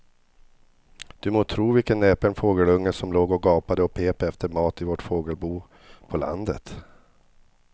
Du må tro vilken näpen fågelunge som låg och gapade och pep efter mat i vårt fågelbo på landet.